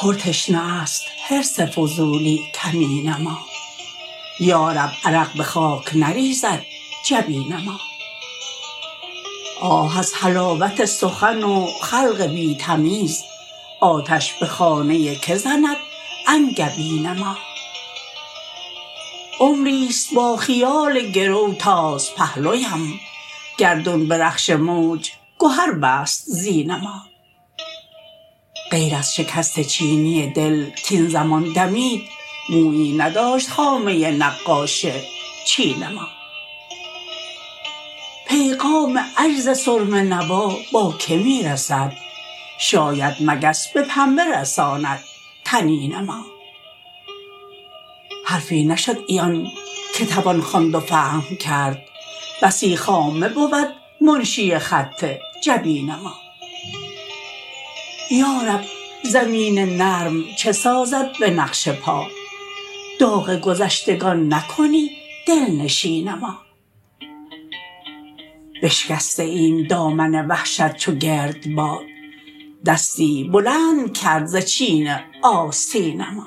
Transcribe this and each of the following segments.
پر تشنه است حرص فضولی کمین ما یارب عرق به خاک نریزد جبین ما آه از حلاوت سخن وخلق بی تمیز آتش به خانه که زند انگبین ما عمری ست با خیال گر و تاز پهلویم گردون به رخش موج گهربست زین ما غیراز شکست چینی دل کاین زمان دمید مویی نداشت خامه نقاش چین ما پیغام عجز سرمه نوا باکه می رسد شاید مگس به پنبه رساند طنین ما حرفی نشدعیان که توان خواند وفهم کرد بسی خامه بود منشی خط جبین ما یارب زمین نرم چه سازد به نقش پا داغ گذشتگان نکنی دلنشین ما بشکسته ایم دامن وحشت چوگردباد دستی بلندکرد زچین آستین ما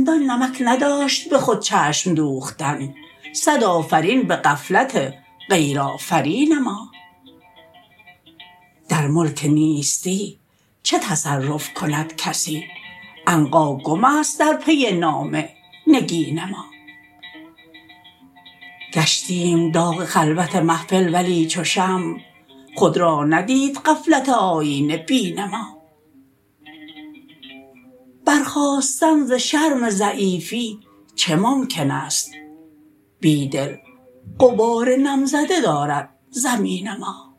چندان نمک نداشت به خود چشم دوختن صدآفرین به غفلت غیرآفرین ما در ملک نیستی چه تصرف کندکسی عنقاگم است در پی نام نگین ما گشتیم داغ خلوت محفل ولی چوشمع خود را ندید غفلت آیینه بین ما برخاستن ز شرم ضعیفی چه ممکن است بیدل غبار نم زده دارد زمین ما